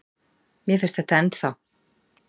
Mér finnst þetta ennþá.